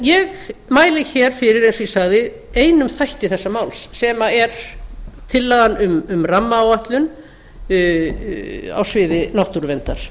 ég mæli fyrir eins og ég sagði einum þætti þessa máls sem er tillagan um rammaáætlun á sviði náttúruverndar